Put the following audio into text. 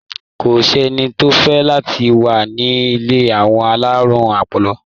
Kò ṣẹ́ni tó fẹ́ láti wà ní ilé àwọn alárùn ọpọlọ.